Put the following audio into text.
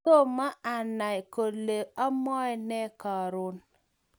Tomo anay kole amwae nee karon